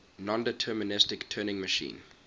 nondeterministic turing machine